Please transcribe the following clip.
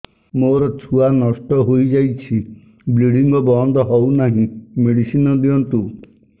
ମୋର ଛୁଆ ନଷ୍ଟ ହୋଇଯାଇଛି ବ୍ଲିଡ଼ିଙ୍ଗ ବନ୍ଦ ହଉନାହିଁ ମେଡିସିନ ଦିଅନ୍ତୁ